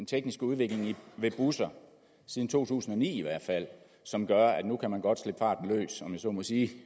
tekniske udvikling ved busser siden to tusind og ni i hvert fald som gør at nu kan man godt slippe farten løs om jeg så må sige